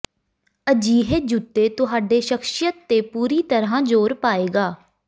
ਅਜਿਹੇ ਜੁੱਤੇ ਤੁਹਾਡੇ ਸ਼ਖਸੀਅਤ ਤੇ ਪੂਰੀ ਤਰ੍ਹਾਂ ਜ਼ੋਰ ਪਾਏਗਾ